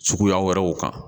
Suguya wɛrɛw kan